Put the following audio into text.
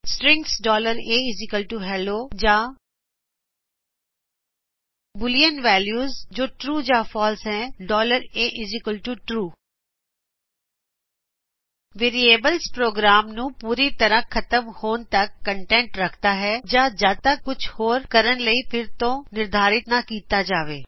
strings ahello ਜਾ boolean values ਜੋ true ਜਾ ਫਾਲਸੇ ਹੈ atrue ਵੇਰਿਏਬਲਸ ਪ੍ਰੋਗਰਾਮ ਨੂੰ ਪੁਰੀ ਤਰ੍ਹਾ ਖ਼ਤਮ ਹੋਣ ਤੱਕ ਕਂਟੈਂਟਸ ਰਖਦਾ ਹੈ ਜਾ ਜੱਦ ਤੱਕ ਕੁੱਝ ਹੋਰ ਕਰਨ ਲਈ ਫਿਰ ਤੋ ਨਿਰਧਾਰਿਤ ਨਾ ਕਿਤਾ ਜਾਵੇਂ